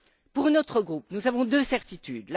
Pour notre groupe, nous avons deux certitudes.